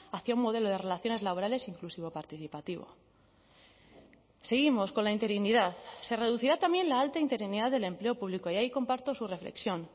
hacia un modelo de relaciones laborales inclusivo participativo seguimos con la interinidad se reducirá también la alta interinidad del empleo público y ahí comparto su reflexión